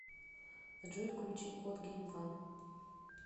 джой включи кот гейм ван